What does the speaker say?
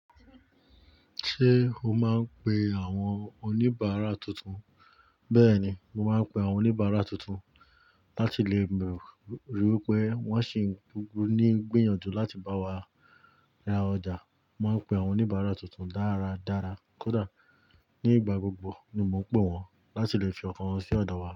Ṣé o máa ń pe àwọn oníbàárà tuntun? Bẹ́ẹ̀ni, màá ń pe àwọn oníbàárà tuntun láti lè ríi wípé wọ́n sì ń gúgún ní gbìyànjú láti bá wa ra ọjà. Mo máa pe àwọn oníbàrà tún tún dára dára nígbà gbogbo ni mo ń pè wọ́n láti lè fi ọkàn wọn sí ọ̀dọ̀ wa.